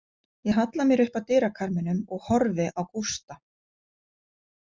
Ég halla mér upp að dyrakarminum og horfi á Gústa.